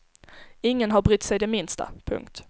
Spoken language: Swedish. Ingen har brytt sig det minsta. punkt